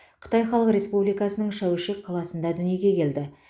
қытай халық республикасының шәуешек қаласында дүниеге келді